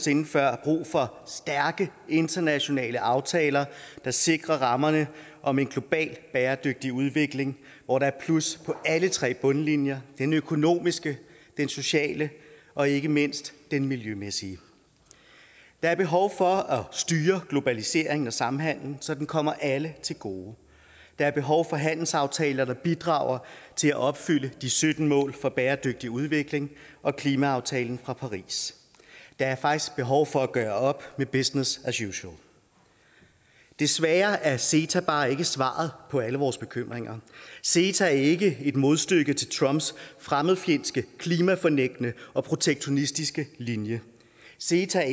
sinde før brug for stærke internationale aftaler der sikrer rammerne om en global bæredygtig udvikling hvor der er plus på alle tre bundlinjer den økonomiske den sociale og ikke mindst den miljømæssige der er behov for at styre globaliseringen og samhandelen så den kommer alle til gode og der er behov for handelsaftaler der bidrager til at opfylde de sytten mål for bæredygtig udvikling og klimaaftalen fra paris der er faktisk behov for at gøre op med business as usual desværre er ceta bare ikke svaret på alle vores bekymringer ceta er ikke et modstykke til trumps fremmedfjendske klimafornægtende og protektionistiske linje ceta er